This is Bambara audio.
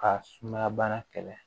Ka sumaya bana kɛlɛ